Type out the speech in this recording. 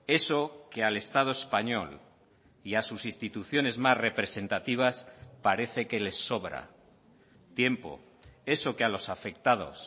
eso que al estado español y a sus instituciones más representativas parece que les sobra tiempo eso que a los afectados